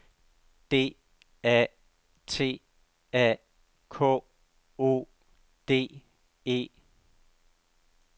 D A T A K O D E